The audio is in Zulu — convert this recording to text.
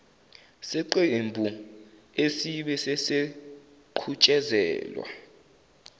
seqembu esibe sesiqhutshezelwa